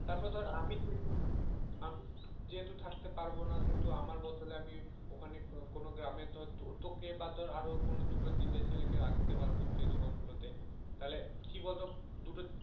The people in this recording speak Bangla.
তারপর ধর আমি যেহেতু আমি যেহেতু থাকতে পারবো না সেহেতু আমার বদলে আমি ওখানে কোনো গ্রামে ধর তোকে বা ধর আরো কোনো দুটো তিনটে ছেলেকে রাখতে পারবো সেই দোকান গুলোতে তাহলে কি বলতো দুটো